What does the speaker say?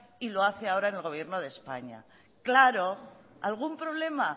y lo hace ahora el gobierno de españa claro algún problema